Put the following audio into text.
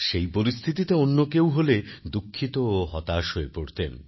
সেই পরিস্থিতিতে অন্য কেউ হলে দুঃখিত ও হতাশ হয়ে পড়তেন